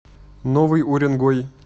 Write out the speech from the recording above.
новый уренгой